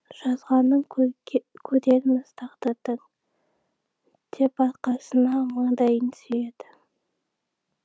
жазғанын көрерміз тағдырдың деп арқасына маңдайын сүйеді